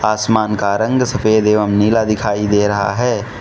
आसमान का रंग सफेद एवं नीला दिखाई दे रहा है।